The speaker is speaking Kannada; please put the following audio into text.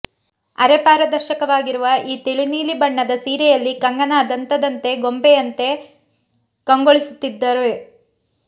ಅರೆ ಪಾರದರ್ಶಕವಾಗಿರುವ ಈ ತಿಳಿನೀಲಿ ಬಣ್ಣದ ಸೀರೆಯಲ್ಲಿ ಕಂಗನಾ ದಂತದ ಗೊಂಬೆಯಂತೆ ಕಂಗೊಳಿಸು ತ್ತಿದ್ದಾರೆ